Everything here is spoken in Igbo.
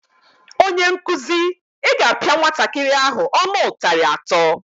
Onyenkụzi, Ị ga-apịa nwatakịrị ahụ ọnụ ụtarị atọ!